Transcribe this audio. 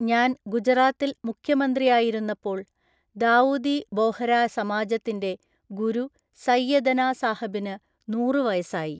ഞാന്‍ ഗുജറാത്തില്‍ മുഖ്യമന്ത്രിയായിരുന്നപ്പോള്‍ ദാഊദി ബോഹരാ സമാജത്തിന്‍റെ ഗുരു സൈയദനാ സാഹബിന് നൂറൂ വയസ്സായി.